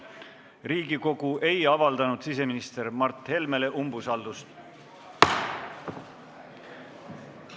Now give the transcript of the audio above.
Riigikogu ei avaldanud siseminister Mart Helmele umbusaldust.